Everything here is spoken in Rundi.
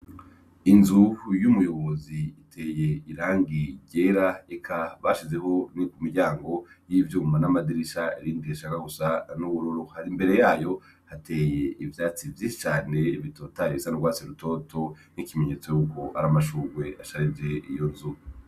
inzu y'umuyobozi iteye irangi ryera ika bashizeho ni miryango y'ivyuma n'amadirisha irindi rishaka gusa n'ubururu hari mbere yayo hateye ivyatsi cyane bitotahaye bisa n'urwatsi rutoto n'ikimenyetso y'uku ari amashunwe asharije iyo nzu